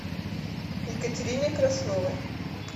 екатерине красновой